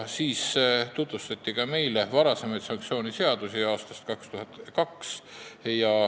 Meile tutvustati ka varasemaid sanktsiooniseadusi.